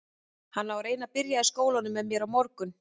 Hann á að reyna að byrja í skólanum með mér á morgun.